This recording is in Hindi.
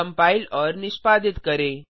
कंपाइल और निष्पादित करें